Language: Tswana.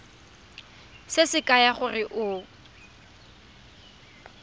se se kaya gore o